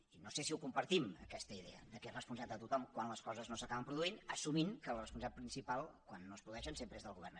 i no sé si la compartim aquesta idea que és responsabilitat de tothom quan les coses no s’acaben produint assumint que la responsabilitat principal quan no es produeixen sempre és del govern